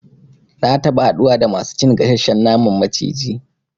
Na taba haɗuwa da masu cin gasashshen naman maciji